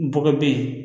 Bɔgɔ bɛ ye